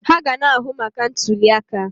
Ha ga na-ahụ maka ntuliaka.